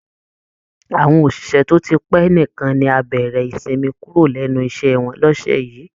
Àwọn òṣìṣẹ́ tó ti pẹ́ nìkan ni á bẹ̀rẹ̀ ìsinmi kúrò lẹ́nu iṣẹ́ wọn lọ́sẹ̀ yìí